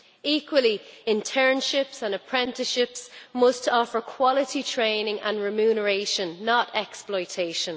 equally, internships and apprenticeships must offer quality training and remuneration, not exploitation.